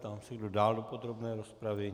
Ptám se, kdo dál do podrobné rozpravy.